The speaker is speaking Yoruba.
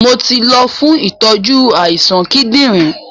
Mo ti lọ fún ìtọ́jú àìsàn kíndìnrín